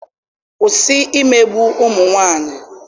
kwụsị imegbu ụmụ nwanyị!